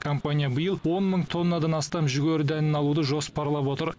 компания биыл он мың тоннадан астам жүгері дәнін алуды жоспарлап отыр